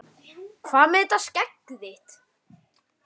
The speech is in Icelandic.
Hvað með þetta skegg þitt.